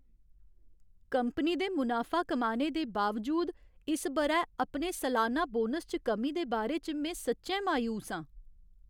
Company दे मुनाफा कमाने दे बावजूद, इस ब'रै अपने सलाना बोनस च कमी दे बारे च में सच्चैं मायूस आं।